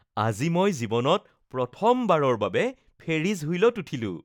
আজি মই জীৱনত প্ৰথমবাৰৰ বাবে ফেৰিছ হুইলত উঠিলোঁ